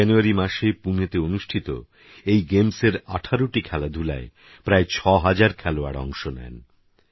Januaryমাসেপুনেতেঅনুষ্ঠিতএইগেমসের18টিখেলাধুলায়প্রায়৬০০০খেলোয়াড়অংশনেন